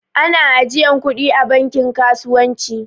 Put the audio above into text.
Ana ajiyan kuɗi a banki kasuwanci